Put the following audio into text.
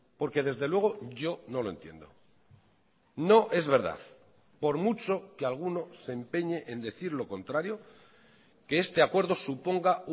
porque desde luego yo no lo entiendo no es verdad por mucho que alguno se empeñe en decir lo contrario que este acuerdo suponga